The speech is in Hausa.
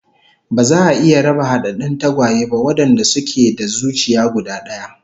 Ba za a iya raba hadaddun tagwaye ba wadanda suke da zuciya guda daya